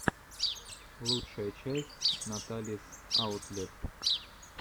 лучшая часть наталис аутлет